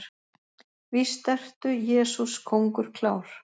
Víst ertu, Jesús, kóngur klár.